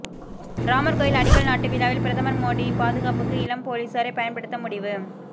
ராமர் கோவில் அடிக்கல் நாட்டு விழாவில் பிரதமர் மோடி பாதுகாப்புக்கு இளம் போலீசாரை பயன்படுத்த முடிவு